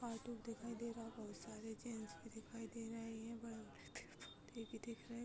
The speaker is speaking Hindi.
दिखाई दे रहा | बहुत सारे जेन्‍ट्स भी दिखाई दे रहे हैं | बड़े दिख रहे --